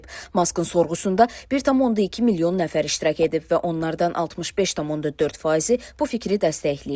Maskın sorğusunda 1.2 milyon nəfər iştirak edib və onlardan 65.4 faizi bu fikri dəstəkləyib.